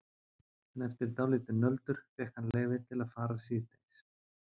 En eftir dálítið nöldur fékk hann leyfi til að fara síðdegis.